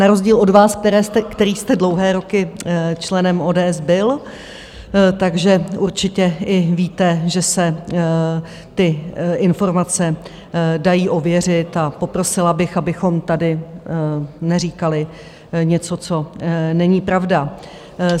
Na rozdíl od vás, který jste dlouhé roky členem ODS byl, takže určitě i víte, že se ty informace dají ověřit, a poprosila bych, abychom tady neříkali něco, co není pravda.